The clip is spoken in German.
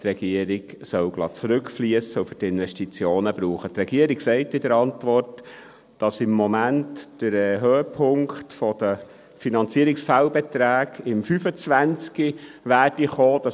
Die Regierung sagt in der Antwort, dass im Moment der Höhepunkt der Finanzierungsfehlbeträge im Jahr 2025 erwartet wird.